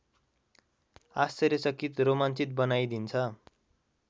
आश्चर्यचकित रोमान्चित बनाइदिन्छ